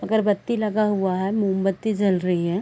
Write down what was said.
अगरबत्ती लगा हुआ है मोमबत्ती जल रही हैं ।